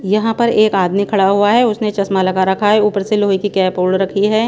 यहाँ पर एक आदमी खड़ा हुआ हैं उसने चश्मा लगा रखा हैं ऊपर से लोहे की कैप ओड़ रखी हैं।